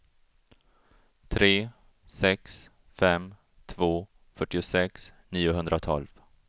tre sex fem två fyrtiosex niohundratolv